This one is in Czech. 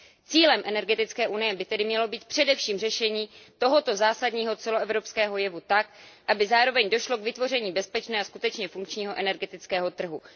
Cílem energetické unie by tedy mělo být především řešení tohoto zásadního celoevropského jevu tak, aby zároveň došlo k vytvoření bezpečného a skutečně funkčního energetického trhu.